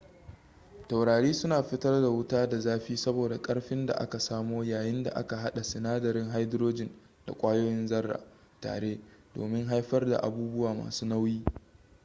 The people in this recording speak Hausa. taurari suna fitar da wuta da zafi saboda karfin da aka samo yayin da aka hada sinadarin hydrogen da kwayoyin zarra ko aka hada tare domin haifar abubuwa masu nauyi